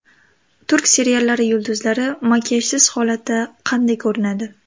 Turk seriallari yulduzlari makiyajsiz holatda qanday ko‘rinadi?